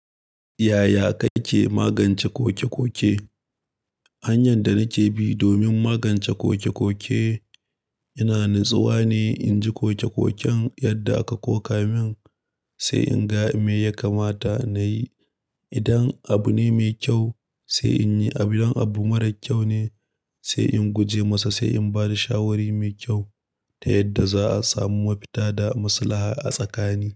Yaya kake magance koke-koke? Hanyan da nike bi domin magance koke-koke yana nutsuwa ne. In ji koke-koken yadda aka koka min, sai in ga me ya kamata nayi. Idan abu ne mai kyau, sai in yi. Idan abu marar kyau ne, sai in guje masa, sai in bada shawari mai kyau ta yadda za'a samu mafita da maslaha a tsakani.